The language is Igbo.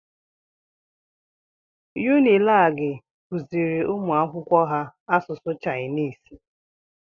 Unilagi kuziri umuakwụkwọ ha asụsụ Chainisi